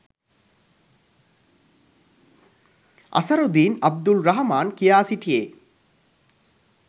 අසරුදීන් අබ්දුල් රහ්මාන් කියා සිටියේ.